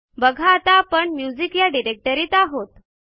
बघा आता आपण म्युझिक या डिरेक्टरीत आहोत